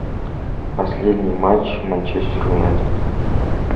последний матч манчестер юнайтед